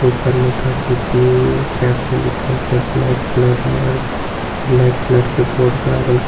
ऊपर में the city cafe लिखल छे ब्लैक कलर मे आओर ब्लैक कलर के बोर्ड बराबर--